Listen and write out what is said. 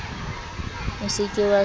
o se ke wa se